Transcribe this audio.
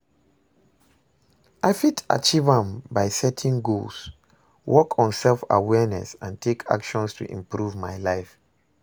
I fit achieve am by setting goals, work on self-awareness and take actions to improve my life.